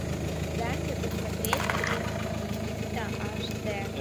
дай мне посмотреть принц египта аш д